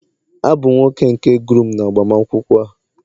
Abum nwoke nke groom n'agbamakwụkwọ a